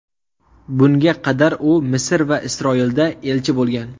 Bunga qadar u Misr va Isroilda elchi bo‘lgan.